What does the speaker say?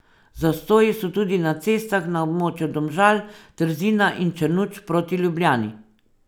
Zastoji so tudi na cestah na območju Domžal, Trzina in Črnuč proti Ljubljani.